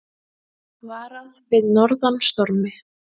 Varað við norðan stormi